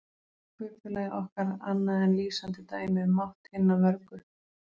Hvað er kaupfélagið okkar annað en lýsandi dæmi um mátt hinna mörgu?